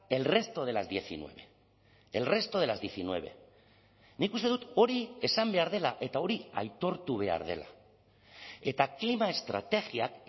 el resto de las diecinueve el resto de las diecinueve nik uste dut hori esan behar dela eta hori aitortu behar dela eta klima estrategiak